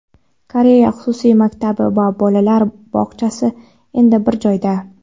Koreya xususiy maktabi va bolalar bog‘chasi endi bir joyda.